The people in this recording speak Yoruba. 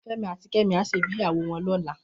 Femi àtí Kemi á ṣé gbéyàwó wòn lòlá